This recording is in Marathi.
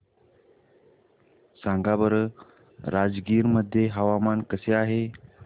सांगा बरं राजगीर मध्ये हवामान कसे आहे